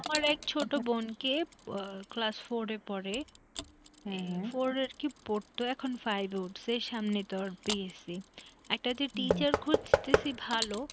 আমার এক ছোট বোন কে আহ class four এ পড়ে four আরকি পড়তো এখন five এ উঠসে সামনে তার PSC একটা যে teacher খুজতেসি ভালো